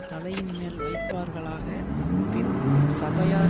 தலையின்மேல் வைப்பார்களாக பின்பு சபையார்